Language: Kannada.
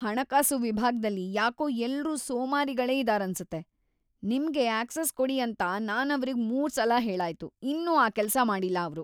ಹಣಕಾಸು ವಿಭಾಗ್ದಲ್ಲಿ ಯಾಕೋ ಎಲ್ರೂ ಸೋಮಾರಿಗಳೇ ಇದಾರನ್ಸುತ್ತೆ. ನಿಮ್ಗೆ ಅಕ್ಸೆಸ್‌ ಕೊಡಿ ಅಂತ ನಾನವ್ರಿಗ್‌ ಮೂರ್ಸಲ ಹೇಳಾಯ್ತು, ಇನ್ನೂ ಆ ಕೆಲ್ಸ ಮಾಡಿಲ್ಲ ಅವ್ರು.